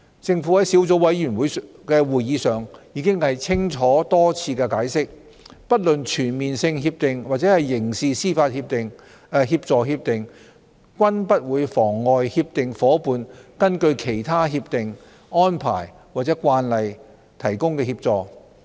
政府在小組委員會會議上已多次清楚解釋，不論全面性協定或刑事司法協助協定均不會妨礙協定夥伴根據其他協定、安排或慣例提供協助。